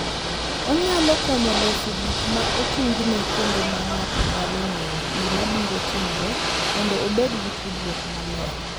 Onyalo konyo loso gik ma ochung’ne kendo ma ng’ato nyalo ng’eyo gima biro timore mondo obed gi tudruok maler.